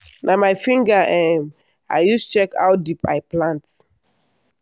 na my finger um i use check how deep i plant.